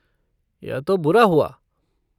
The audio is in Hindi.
यह तो बुरा हुआ।